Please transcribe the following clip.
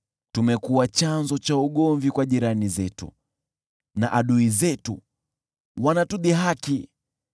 Tumekuwa chanzo cha ugomvi kwa jirani zetu, na adui zetu wanatudhihaki.